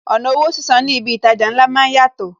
Ọ̀nà owó sísan ní ibi itaja ńlá máa ń yàtọ̀